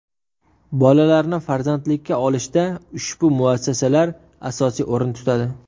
Bolalarni farzandlikka olishda ushbu muassasalar asosiy o‘rin tutadi.